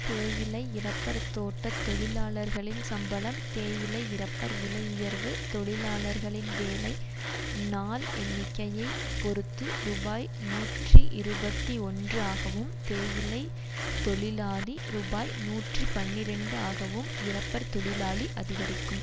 தேயிலை இறப்பர் தோட்ட தொழிலாளர்களின் சம்பளம் தேயிலை இறப்பர் விலை உயர்வு தொழிலார்களின் வேலை நாள் எண்ணிக்கையை பொறுத்து ரூபாய் நூற்றி இருபத்தி ஒன்று ஆகவும் தேயிலை தொழிலாளி ரூபாய் நூற்றி பனிரண்டு ஆகவும் இறப்பர் தொழிலாளி அதிகரிக்கும்